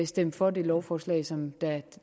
stemt for det lovforslag som